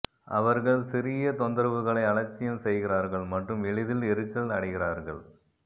அவர்கள் சிறிய தொந்தரவுகளை அலட்சியம் செய்கிறார்கள் மற்றும் எளிதில் எரிச்சல் அடைகிறார்கள்